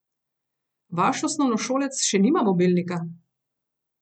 Vaš osnovnošolec še nima mobilnika?